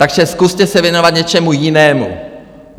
Takže zkuste se věnovat něčemu jinému.